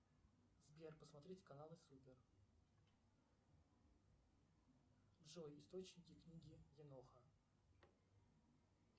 сбер посмотреть каналы супер джой источники книги еноха